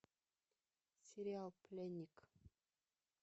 сериал пленник